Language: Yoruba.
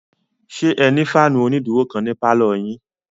Ṣé ẹ ní fáànù onídúró kan ní pálọ̀ yín?